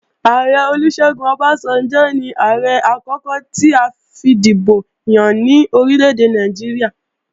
Ààrẹ Olúṣẹ́gun Ọbásanjọ́ ní Ààrẹ àkókò ti a fìdìbò yàn ní orílèdè Nàìjíríà